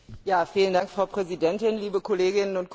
Frau Präsidentin, liebe Kolleginnen und Kollegen!